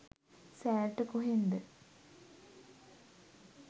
සෑර්ට කොහෙන්ද